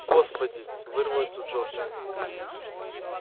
господи вырвалось у джорджа